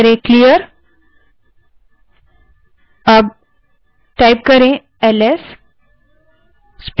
terminal window को clear करने के लिए clear type करें